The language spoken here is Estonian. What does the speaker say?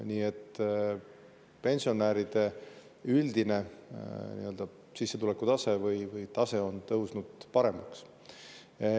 Nii et pensionäride üldine sissetulekutase on läinud paremaks.